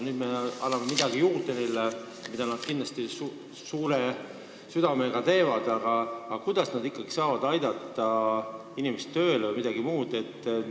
Nüüd me anname neile midagi juurde ja nad teevad kindlasti ka seda suure südamega, aga kuidas nad ikkagi saavad aidata inimest tööle vms?